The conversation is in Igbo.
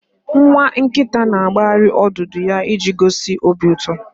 Nwa nkita na-akpaghari odudu ya iji gosi obi uto